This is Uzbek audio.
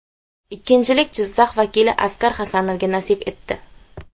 Ikkinchilik Jizzax vakili Asqar Hasanovga nasib etdi.